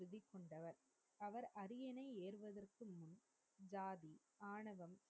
ஜாதி ஆணவம்,